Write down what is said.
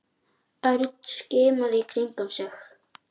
Örn skimaði í kringum sig.